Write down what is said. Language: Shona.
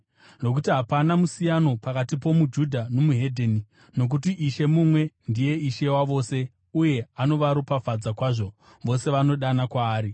Nokuti hapana musiyano pakati pomuJudha noweDzimwe Ndudzi, nokuti Ishe mumwe ndiye Ishe wavose uye anovaropafadza kwazvo vose vanodana kwaari,